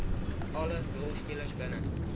alle rolspelers binne